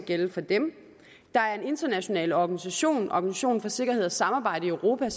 at gælde for dem der er en international organisation organisationen for sikkerhed og samarbejde i europa